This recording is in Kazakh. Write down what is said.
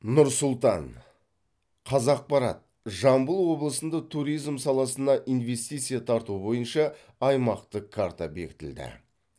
нұр сұлтан қазақпарат жамбыл облысында туризм саласына инвестиция тарту бойынша аймақтық карта бекітілді